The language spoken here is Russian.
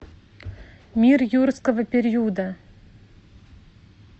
мир юрского периода